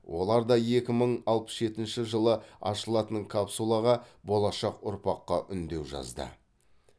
олар да екі мың алпыс жетінші жылы ашылатын капсулаға болашақ ұрпаққа үндеу жазды